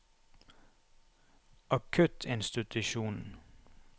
akuttinstitusjonen